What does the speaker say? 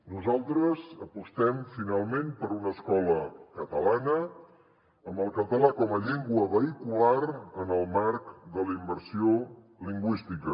nosaltres apostem finalment per una escola catalana amb el català com a llengua vehicular en el marc de la immersió lingüística